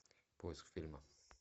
поиск фильма